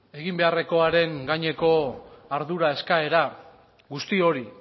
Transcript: egin beharrekoaren gaineko ardura eskaera guzti hori